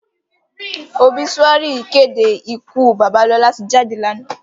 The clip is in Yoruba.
Óbisúári ìkédé ìkú baba Lola ti jádé láná.